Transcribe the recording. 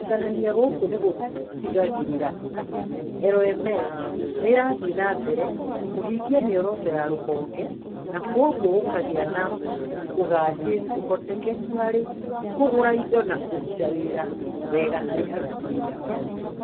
Kũiganania gũkũ nĩ gũtigagĩrĩra atĩ LMS nĩ ĩrathiĩ na mbere kũhingia mĩoroto ya rũhonge, na kwoguo gũkagĩa na ũgaacĩru, ũhotekeku harĩ kũgũra indo na kũruta wĩra wega harĩ aruti wĩra othe.